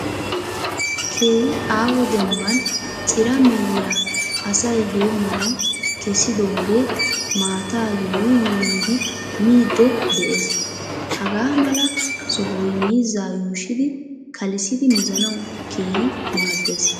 Keehi aaho dembban cira mehiya asay heemmanwu kessidoogee maataa yuuyi yuuyidi miidde de'ees. Hagaa mala sohoy miizzaa yuushidi kalissidi mizanawu keehi maadees.